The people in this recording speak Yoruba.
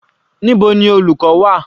Níbo ni olùkọ́ wà?